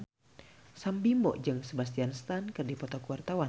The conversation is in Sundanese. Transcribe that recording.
Sam Bimbo jeung Sebastian Stan keur dipoto ku wartawan